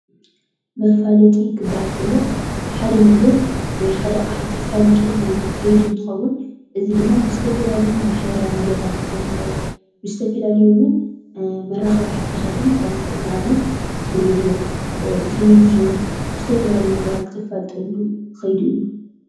መፋለጢ ክባሃል ከሎ ሓደ ነገር ወይ ሓደ ኣቕሓ እተፋልጠሉ ከይዲ እንትኸውን እዚ ድማ ብዝተፈላለዩ ማሕበራዊ ሚድያታት ክኸውን ይክእል። ብዝተፈላለዩ እውን መራኸቢ ሓፋሻት እውን ይኽእል። ንኣብነት ብሬድዮ፣ ቴልቭዥን ብዝተፈላለዩ ነገራት እተፋልጠሉ ከይዲ እዩ።